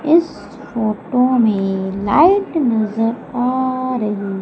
इस फोटो में लाइट नजर आ रही--